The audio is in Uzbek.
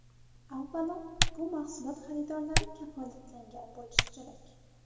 Avvalo, bu mahsulot xaridorlari kafolatlangan bo‘lishi kerak.